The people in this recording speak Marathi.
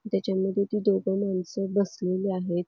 त्याच्यामध्ये ती दोघ माणसं बसलेली आहेत.